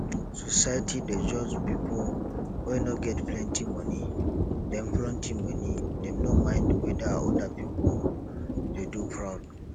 society dey judge pipo wey no get plenty money dem plenty money dem no mind weda oda pipo dey do fraud